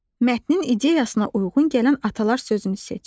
Mətinin ideyasına uyğun gələn atalar sözünü seç.